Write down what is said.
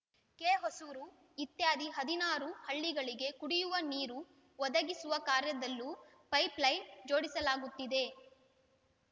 ಕೆಹೊಸೂರು ಇತ್ಯಾದಿ ಹದಿನಾರು ಹಳ್ಳಿಗಳಿಗೆ ಕುಡಿಯುವ ನೀರು ಒದಗಿಸುವ ಕಾರ್ಯದಲ್ಲೂ ಪೈಪ್‌ ಲೈನ್‌ ಜೋಡಿಸಲಾಗುತ್ತಿದೆ